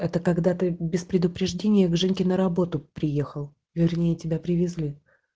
это когда ты без предупреждения к женьке на работу приехал вернее тебя привезли